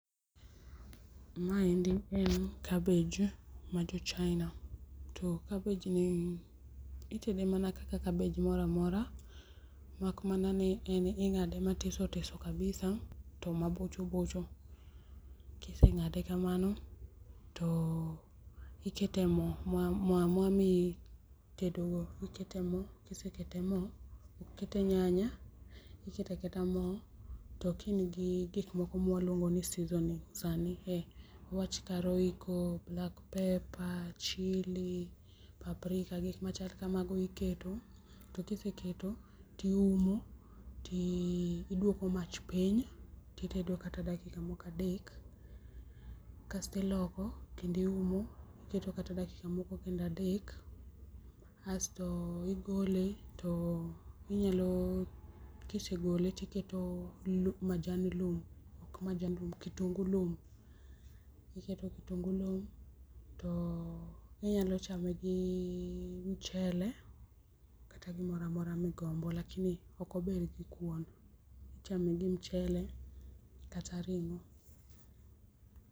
Ma endi en cabbage mar jo china to cabbage ni itede mana kaka cabbage moro amora, mak mana ni en ingade matiso tiso kabisa to mabocho bocho, kisengade to ikete mo ma itedo ,ikete mo kisekete mo, iketo nyanya iketaketa mo to ka in gi gik moko ma waluongo ni season kaka royco ,black paper chilli mandhari gi gik machal kamano iketo to ka iseketo ti umo ti duoko mach piny, titedo kata dakika moko adek kasto iloko kendo iumo iketo kata dakika moko adek asto igole to inyalo kisegole tiketo kitungu lum,[R]iketo kitungu lum[R] to inyalo chame gi mchele kata gimoro amora migombo lakini ok ober gi kuon, ichame gi mchele kata ringo.